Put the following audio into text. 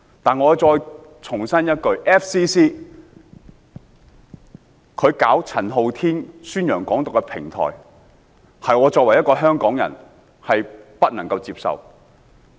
但我再重申 ，FCC 為陳浩天宣揚"港獨"提供平台，是我作為香港人所不能接受的。